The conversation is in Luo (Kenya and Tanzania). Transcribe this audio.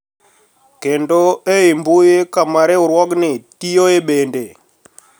Kendo e i mbui kama riwruogni tiyoe bende